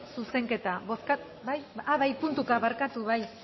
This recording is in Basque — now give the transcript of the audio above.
zuzenketa bozkatu bai bai puntuka barkatu